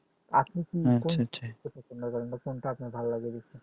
আপনি কি কোনটা আপনার ভাল লাগে বেশি